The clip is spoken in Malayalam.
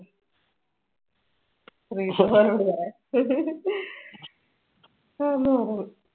ശ്രീജിത്ത് മാമനോട് പറയാൻ